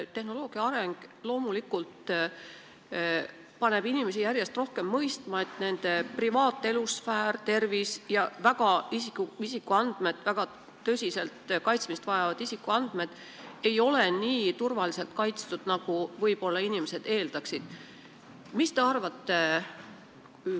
Tehnoloogia areng paneb inimesi loomulikult järjest rohkem mõistma, et nende privaatsfäär, tervise- ja muud väga tõsiselt kaitsmist vajavad isikuandmed ei ole nii turvaliselt kaitstud, nagu inimesed võib-olla eeldaksid.